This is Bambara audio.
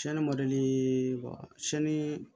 Sɛni ma deli wa sɛnii